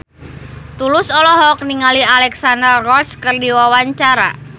Tulus olohok ningali Alexandra Roach keur diwawancara